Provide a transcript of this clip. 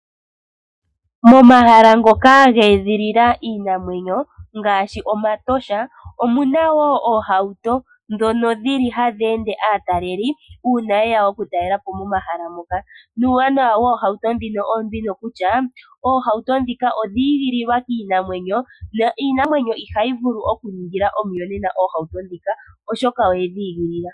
Etosha olyo ehala ndyoka lyeedhilila iinamwenyo nomehala muka ohamukala oohawuto ndhoka hadhi ende aataleli uuna yeya okutalelapo metosha. Uuwanawa woohawuto ndhika ohadhikala dhi igililwa nale kiinamwenyo yometosha niinamwenyo ihayi ningile oohawuto ndhika omiyonena dhasha.